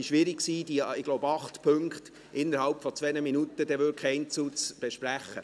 Es dürfte schwierig sein, die acht Punkte wirklich innerhalb von 2 Minuten einzeln zu besprechen.